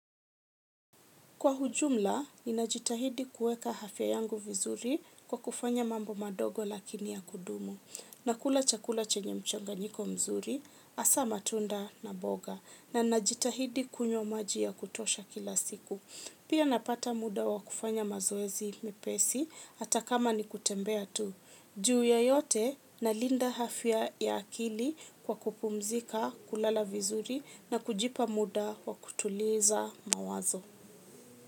Kwa ujumla, ni najitahidi kuweka afya yangu vizuri kwa kufanya mambo madogo lakini ya kudumu. Nakula chakula chenye mchanganyiko mzuri, asa matunda na mboga. Na najitahidi kunywa maji ya kutosha kila siku. Pia napata muda wa kufanya mazoezi mepesi, hata kama ni kutembea tu. Juu ya yote, na linda afya ya akili kwa kupumzika kulala vizuri na kujipa muda wa kutuliza mawazo.